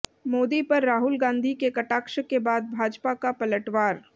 मोदी पर राहुल गांधी के कटाक्ष के बाद भाजपा का पलटवार